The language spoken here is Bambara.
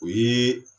O ye